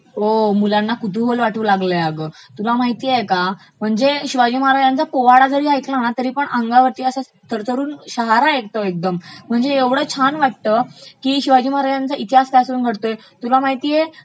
हो मुलांना कुतूहल वाटू लागलयं अगं, तुला माहितेय का म्हणजे शिवाजी महाराज्यांचा पोवाडा जरी ऐकला ना तरा अंगावरती असं दरदरुन शहरा येतो एकदम, म्हणजे ऐवढं छान वाटतं की शिवाजी महाराजांचा इतिहास समोर घडतोय तुला माहितेय